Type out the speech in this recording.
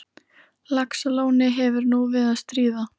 Laxalóni hefur nú við að stríða.